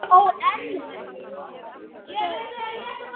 Gamla hjólið hans til dæmis.